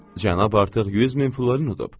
Cənab artıq 100 min florin udub.